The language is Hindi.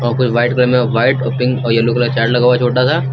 फिर व्हाइट कलर में व्हाइट और पिंक और येलो कलर चार्ट लगा हुआ है छोटा सा।